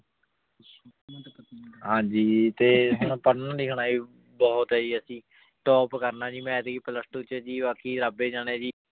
ਹਾਂਜੀ ਜੀ ਤੇ ਹੁਣ ਪੜ੍ਹਨਾ ਲਿਖਣਾ ਵੀ ਬਹੁਤ ਹੈ ਜੀ ਅਸੀਂ top ਕਰਨਾ ਜੀ ਮੈਂ ਐਤਕੀ plus two ਚ ਜੀ ਬਾਕੀ ਰੱਬ ਹੀ ਜਾਣੇ ਜੀ।